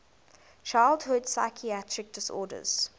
childhood psychiatric disorders